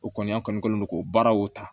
O kɔni an kɔni kɛlen don k'o baaraw ta